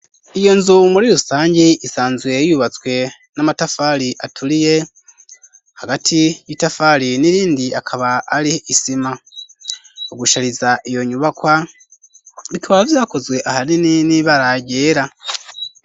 Iyo nzu muri rusange isanzwe yubatswe n'amatafari aturiye hagati y'itafari n'irindi akaba ari isima mu gushariza iyo nyubakwa bikaba vyakozwe ahanini nibara ryera.